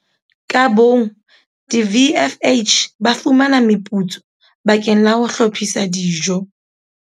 Ka bong, di-VFH ba fumana meputso bakeng la ho hlophisa dijo.